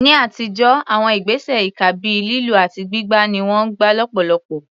Ní àtijọ́, àwọn ìgbésẹ̀ ìkà bíi lílù àti gbígbá ni wọ́n gbà lọ́pọ̀lọpọ̀.